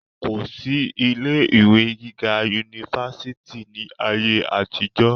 kò sí ilé ìwé gíga unifásitì ní ayé àtijọ́